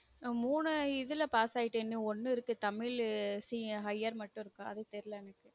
மூனு இதுல pass ஆகிட்டேன் இனி ஒன்னு இருக்கு தமிழு higher மட்டும் இருக்கு அது தெரில எனக்கு